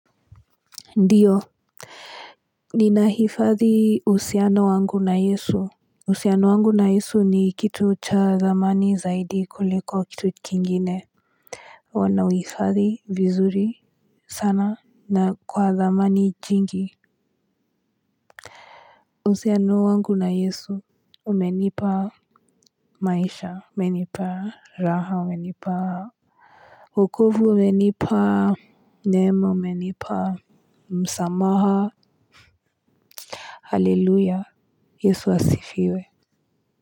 Ndiyo. Ninahifadhi usiano wangu na yesu. Usiano wangu na yesu ni kitu cha dhamani zaidi kuliko kitu kingine. Wanauifadhi vizuri sana na kwa dhamani jingi. Usiano wangu na yesu umenipa maisha menipa raha umenipa uokovu umenipa nema umenipa Msamaha. Haleluya yesu asifiwe.